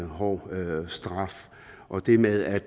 hård straf og det med at